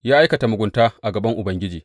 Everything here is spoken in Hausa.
Ya aikata mugunta a gaban Ubangiji.